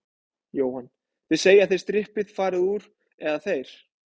Jóhann: Þið segið að þið strippið, farið þið úr, eða þeir?